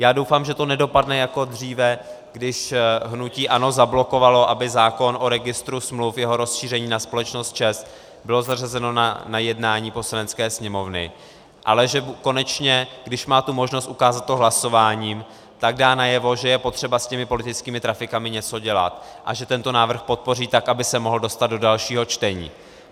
Já doufám, že to nedopadne jako dříve, když hnutí ANO zablokovalo, aby zákon o registru smluv, jeho rozšíření na společnost ČEZ, byl zařazen na jednání Poslanecké sněmovny, ale že konečně, když má tu možnost ukázat to hlasováním, tak dá najevo, že je potřeba s těmi politickými trafikami něco dělat, a že tento návrh podpoří, tak aby se mohl dostat do dalšího čtení.